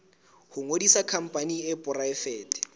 ho ngodisa khampani e poraefete